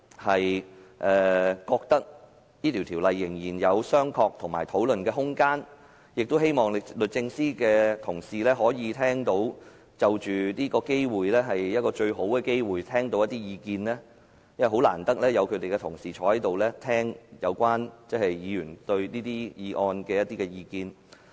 我覺得仍然有商榷及討論的空間，亦希望律政司的官員可以藉此機會聆聽一些意見，因為他們難得列席立法會會議，聆聽議員對這些議題的意見。